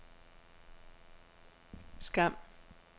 Skam